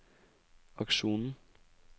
aksjonen